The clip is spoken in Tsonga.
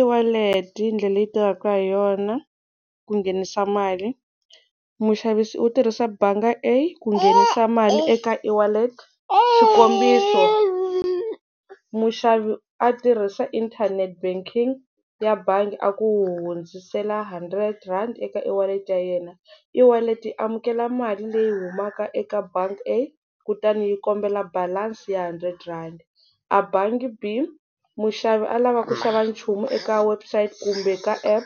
E-wallet i ndlela leyi tekaka hi yona ku nghenisa mali muxavisi u tirhisa bangi A ku nghenisa mali eka e-wallet xikombiso muxavi a tirhisa inthanete banking ya bangi a ku hundzisela hundred rand eka e-wallet ya yena e-wallet yi amukela mali leyi humaka eka bangi A kutani yi kombela balansi ya hundred rhandi a bangi B muxavi a lava ku xava nchumu eka website kumbe ka app